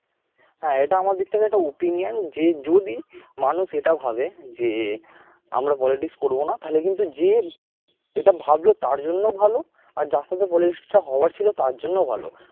এটা আমার দিক থেকে একটা opinion যে যদি মানুষ এটা ভাবে যে আমরা politics করব না তাহলে কিন্তু যে এটা ভাবল তার জন্য ভালো আর যার সাথে politics টা হওয়ার ছিল তার জন্য ভালো।